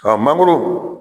mangoro